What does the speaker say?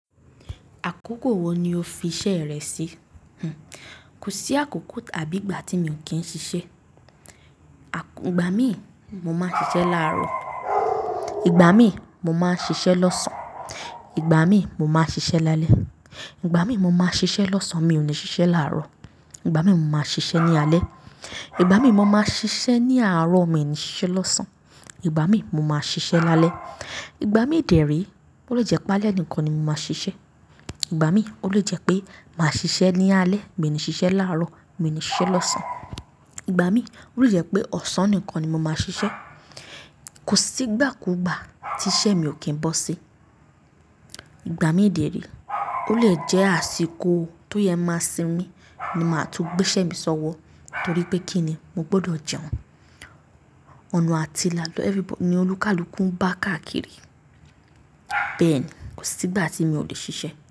Àkókò wo ni o fi iṣẹ́ rẹ sí? Kò sí àkókò tàbí ìgbà tí mi ò kí n ṣiṣẹ́. Ìgbà mí, mo máa ń ṣiṣẹ́ láàárọ̀, ìgbà mí, mo máa ń ṣiṣẹ́ lọ́sàn-án, ìgbà mí, mo máa ń ṣiṣẹ́ lálẹ́, ìgbà mí, mo máa ń ṣiṣẹ́ lọ́sàn-án, mi ò ní ṣiṣẹ́ láàárọ̀, ìgbà mí, mo máa ń ṣiṣẹ́ ní alẹ́, ìgbà mí, mo máa ń ṣiṣẹ́ ní àárọ̀, mi ò ní ṣiṣẹ́ lọ́sàn-án, ìgbà mí, mo máa ń ṣiṣẹ́ lálẹ́. Ìgbà mí dèérí, ó lè jẹ́ pé alẹ́ nìkan ni mo máa ṣiṣẹ́. Ìgbà mí, ó lè jẹ́ pé màá ṣiṣẹ́ ní alẹ́, mi ò ní ṣiṣẹ́ láàárọ̀, mi ò ní ṣiṣẹ́ lọ́sàn-án. Ìgbà mí, ó lè jẹ́ pé ọ̀sán nìkan ni mo máa ṣiṣẹ́. Kò sí ìgbà kú ìgbà tí iṣẹ́ mi ò kí ń bọ́ sí. Ìgbà mí dẹ re, ó lè jẹ́ àsìkò tó yẹ máa sin mi ni màá tún gbé iṣẹ́ mi sọ́wọ́ torí pé kí ni mo gbọdọ̀ jẹun. Ọ̀nà àtìla ni everybody ní olúkùkú bá káàkiri. Bẹ́ẹ̀ ni, kò sí ìgbà tí mi ò lè ṣiṣẹ́.